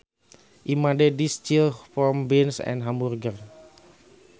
I made this chili from beans and hamburger